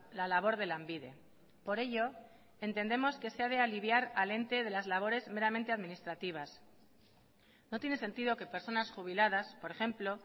la labor de lanbide por ello entendemos que se ha de aliviar al ente de las labores meramente administrativas no tiene sentido que personas jubiladas por ejemplo